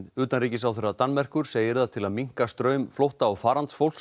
utanríkisráðherra Danmerkur segir að til að minnka straum flótta og